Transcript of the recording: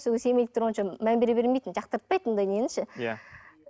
сол кезде семейде мән бере бермейтінмін жақтыртпайтынмын да нені ше иә